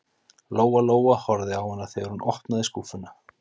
Lóa Lóa horfði á hana þegar hún opnaði skúffuna.